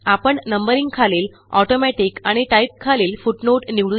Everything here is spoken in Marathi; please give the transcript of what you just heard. आपण नंबरिंग खालील Automaticआणि टाइप खालीलFootnoteनिवडू या